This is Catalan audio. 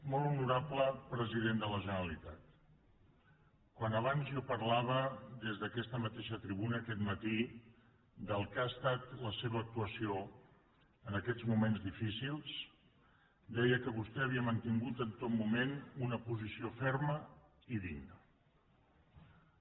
molt honorable president de la generalitat quan abans jo parlava des d’aquesta mateixa tribuna aquest matí del que ha estat la seva actuació en aquests moments difícils deia que vostè havia mantingut en tot moment una posició ferma i digna